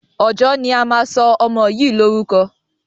Ọjọ́ ni a máa sọ ọmọ yìí lórúkọ.